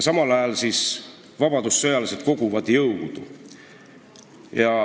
Samal ajal siis vabadussõjalased koguvad jõudu.